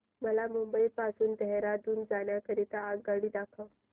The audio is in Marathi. मला मुंबई पासून देहारादून जाण्या करीता आगगाडी दाखवा